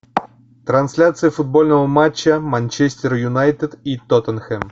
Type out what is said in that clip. трансляция футбольного матча манчестер юнайтед и тоттенхэм